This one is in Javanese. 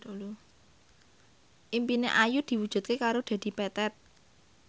impine Ayu diwujudke karo Dedi Petet